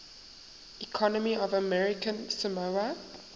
economy of american samoa